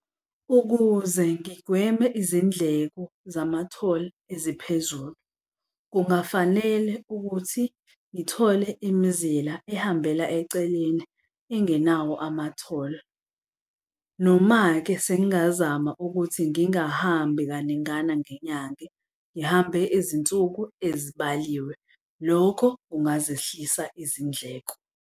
Ukuze ngigweme izindleko zama-toll eziphezulu, kungafanele ukuthi ngithole imizila ehambela eceleni engenawo ama-toll. Noma-ke se'ngazama ukuthi ngingahambi kaningana ngenyanga, ngihambe izinsuku ezibaliwe. Lokho kungazehlisa izindleko.